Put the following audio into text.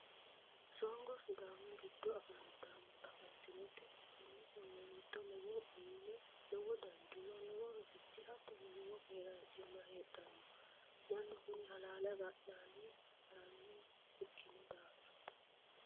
Songo sidaamu giddo afantinote tene songo giddo lowo muume lowo danchuma lowo rosichi hattono lowo keeranchima heedhano mannu kuni halaale agadhanni haranoha ikkino daafira